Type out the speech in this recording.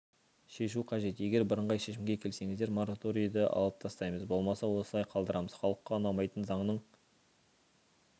шешу қажет егер бірыңғай шешімге келсеңіздер мораторийді алып тастаймыз болмаса осылай қалдырамыз халыққа ұнамайтын заңның